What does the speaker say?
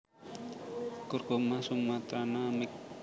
Curcuma sumatrana Miq